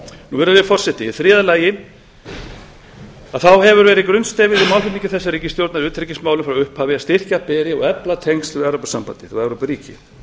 virðulegi forseti í þriðja lagi hefur verið grunnstefið í málflutningi þessarar ríkisstjórnar í utanríkismálum frá upphafi að styrkja beri og efla tengsl við evrópusambandið og evrópuríki